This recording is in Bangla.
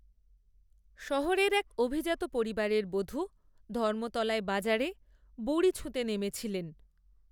শহরের এক, অভিজাত পরিবারের, বধূ, ধর্মতলায় বাজারে, বুড়ি ছুঁতে নেমেছিলেন